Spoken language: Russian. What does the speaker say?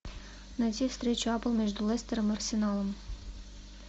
найти встречу апл между лестером и арсеналом